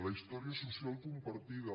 la història social compartida